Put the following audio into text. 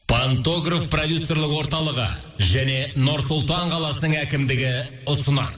пантограф продюсерлік орталығы және нұр сұлтан қаласының әкімдігі ұсынады